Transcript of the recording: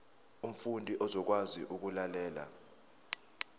umfundi uzokwazi ukulalela